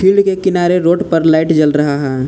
Field के किनारे road पर लाइट जल रहा है।